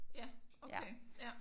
Ja okay ja